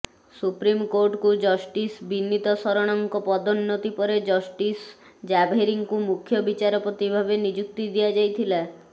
ସୁପ୍ରିମକୋର୍ଟକୁ justice Vineet ଶରଣଙ୍କ ପଦୋନ୍ନତି ପରେ ଜଷ୍ଟିସ ଜାଭେରୀଙ୍କୁ ମୁଖ୍ୟ ବିଚାରପତି ଭାବେ ନିଯୁକ୍ତି ଦିଆଯାଇଥିଲା